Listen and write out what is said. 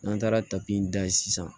N'an taara tabi in da yen sisan